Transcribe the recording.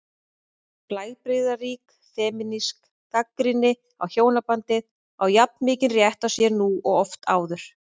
Blæbrigðarík femínísk gagnrýni á hjónabandið á jafn mikinn rétt á sér nú og oft áður.